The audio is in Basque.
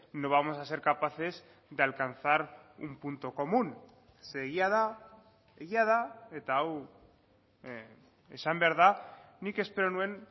no vamos a ser capaces de alcanzar un punto común ze egia da egia da eta hau esan behar da nik espero nuen